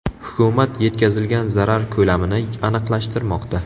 Hukumat yetkazilgan zarar ko‘lamini aniqlashtirmoqda.